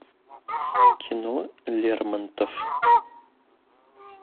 кино лермонтов